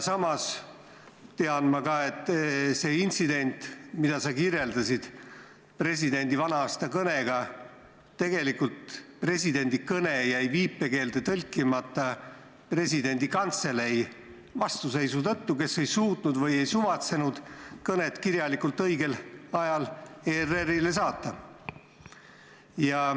Samas tean ma ka, et selle intsidendi puhul, mida sa kirjeldasid, presidendi vana-aasta kõne, jäi presidendi kõne viipekeelde tõlkimata presidendi kantselei vastuseisu tõttu, kes ei suutnud või ei suvatsenud kõnet kirjalikult õigel ajal ERR-ile saata.